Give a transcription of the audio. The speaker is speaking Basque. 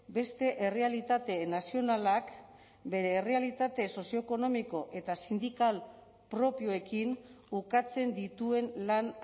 beste errealitate nazionalak bere errealitate sozioekonomiko eta sindikal propioekin ukatzen dituen lan